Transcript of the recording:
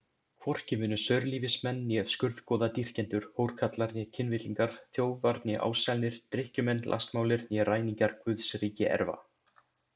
Hvorki munu saurlífismenn né skurðgoðadýrkendur, hórkarlar né kynvillingar, þjófar né ásælnir, drykkjumenn, lastmálir né ræningjar Guðs ríki erfa.